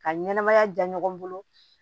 Ka ɲɛnɛmaya ja ɲɔgɔn bolo